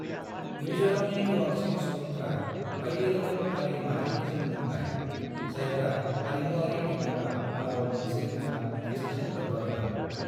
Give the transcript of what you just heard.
मिज'रामनि गोबांसिन सुबुंफ्रा बायदिरोखोम हारि-माहारिफोरजों बुंनाय, जायफ्रा हारिमुआरि नङाबा राव मोनसे नङा मोनसेजों लोब्बागोनां।